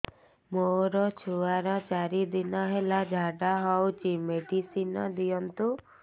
ମୋର ଛୁଆର ଚାରି ଦିନ ହେଲା ଝାଡା ହଉଚି ମେଡିସିନ ଦିଅନ୍ତୁ